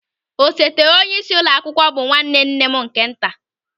Osote onyeisi ụlọ akwụkwọ bụ nwanne nne m nke nta.